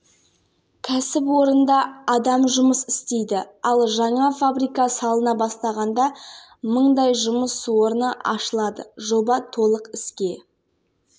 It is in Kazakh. авторлары нұрлан жақыпбеков қанат еңсебаев руслан айтманбетов арнамыздан былғары қолғап шеберлерінің шайқасын жібермей тамашалайтын көрерменге жағымды